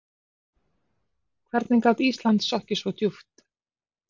Hvernig gat Ísland sokkið svo djúpt?